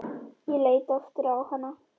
Ég leit aftur á hana.